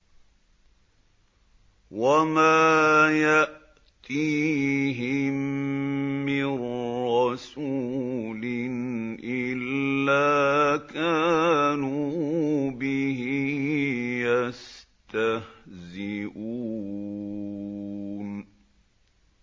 وَمَا يَأْتِيهِم مِّن رَّسُولٍ إِلَّا كَانُوا بِهِ يَسْتَهْزِئُونَ